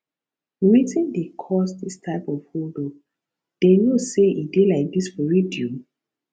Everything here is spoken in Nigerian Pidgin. wetin dey cause dis type of hold up dey no say e dey like dis for radio